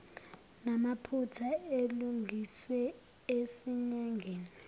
namaphutha alungiswe esinyangeni